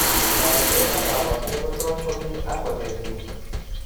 Tagunet ak kabarunaik ko tos komi ak koterchin